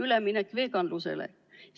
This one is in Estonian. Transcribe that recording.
Üleminek veganlusele?